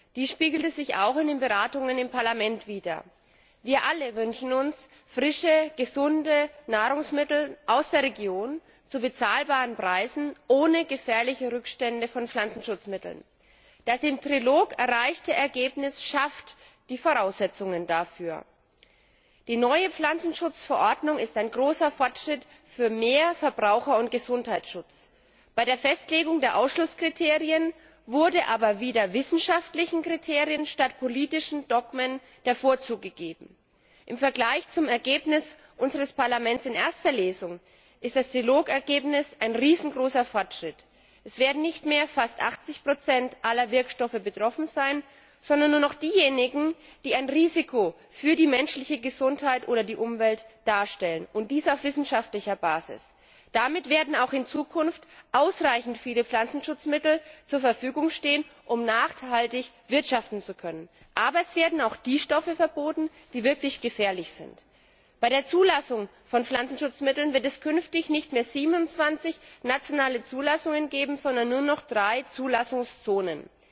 Frau Präsidentin, liebe Kolleginnen und Kollegen! Wir stimmen morgen über Neuregelungen zum Thema Pflanzenschutz ab, einem Thema, das in der Bevölkerung sehr viele Emotionen weckt. Dies spiegelte sich auch in den Beratungen im Parlament wider. Wir alle wünschen uns frische, gesunde Nahrungsmittel aus der Region zu bezahlbaren Preisen ohne gefährliche Rückstände von Pflanzenschutzmitteln. Das im Trilog erreichte Ergebnis schafft die Voraussetzungen dafür. Die neue Pflanzenschutzverordnung ist ein großer Fortschritt für mehr Verbraucher und Gesundheitsschutz. Bei der Festlegung der Ausschlusskriterien wurde aber wieder wissenschaftlichen Kriterien statt politischen Dogmen der Vorzug gegeben. Im Vergleich zum Ergebnis unseres Parlaments in erster Lesung ist das Ergebnis des Trilogs ein riesengroßer Fortschritt. Es werden nicht mehr fast 80 aller Wirkstoffe betroffen sein, sondern nur noch diejenigen, die ein Risiko für die menschliche Gesundheit oder die Umwelt darstellen, und dies auf wissenschaftlicher Basis. Damit werden auch in Zukunft ausreichend viele Pflanzenschutzmittel zur Verfügung stehen, um nachhaltig wirtschaften zu können. Aber es werden auch die Stoffe verboten, die wirklich gefährlich sind. Bei der Zulassung von Pflanzenschutzmitteln wird es künftig nicht mehr 27 nationale Zulassungen geben, sondern nur noch 3 Zulassungszonen.